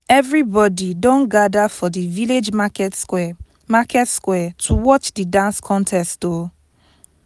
everybody don gather for di village market square market square to watch di dance contest o